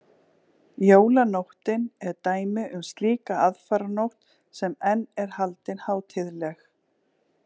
Jólanóttin er dæmi um slíka aðfaranótt sem enn er haldin hátíðleg.